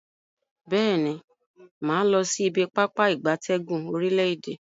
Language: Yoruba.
Beeni, maa losi ibi Pápá ìgbatẹ́gùn orile-ede.